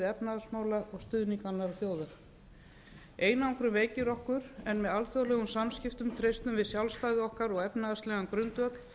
efnahagsmála og stuðning annarra þjóða einangrun veikir okkur en með alþjóðlegum samskiptum treystum við sjálfstæði okkar og efnahagslegan grundvöll